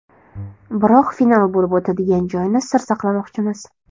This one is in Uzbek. Biroq final bo‘lib o‘tadigan joyni sir saqlamoqchimiz.